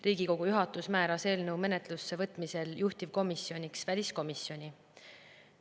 Riigikogu juhatus määras eelnõu menetlusse võtmisel juhtivkomisjoniks väliskomisjoni.